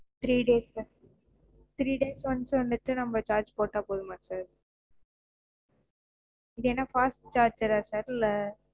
three days sirthree days க்கு once வந்துட்டு நாம charge போட்டா போதுமா sir? இதென்ன fast charger ஆஹ் sir? இல்ல?